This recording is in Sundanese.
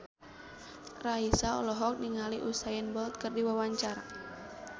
Raisa olohok ningali Usain Bolt keur diwawancara